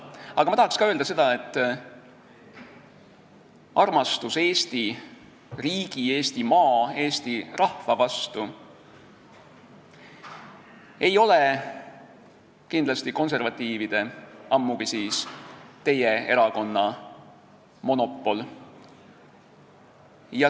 Aga ma tahan öelda ka seda, et armastus Eesti riigi, Eesti maa ja rahva vastu ei ole kindlasti konservatiivide, ammugi siis teie erakonna monopol.